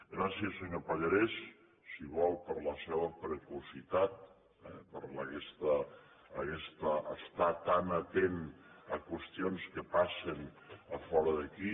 gràcies senyor pallarès si vol per la seva precocitat per aguest estar tan atent a qüestions que passen fora d’aquí